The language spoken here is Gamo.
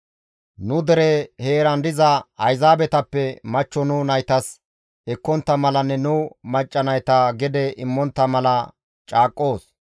nu dere heeran diza Ayzaabetappe machcho nu naytas ekkontta malanne nu macca nayta gede immontta mala caaqqoos.